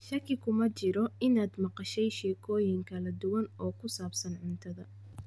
Shaki kuma jiro inaad maqashay sheekooyin kala duwan oo ku saabsan cuntada.